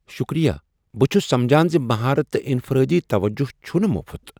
شکریہ! بہٕ چُھس سمجھان زِ مہارت تہٕ انفرٲدی توجو چُھنہٕ مفت ۔